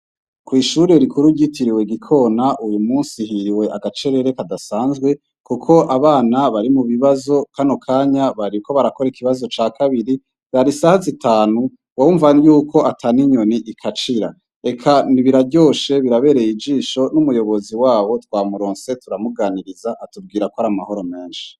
Kwishure rikuru ryitiriwe gikona uyu musi hiriwe agacerere kadasazwe kuko abana bari mubibazo hano mukanya bariko barakora ikibazo cakabiri isaha zitanu wumva yuko ataninyoni ikacira eka biraryoshe birabereye ijisho kuko numuyobozi waho twamuronse turamuganiriza atubwira kwari amahoro menshi